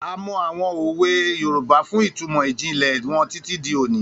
A mọ àwọn òwe Yorùbá fún ìtumọ̀ ìjìnlẹ̀ wọn títí di òní.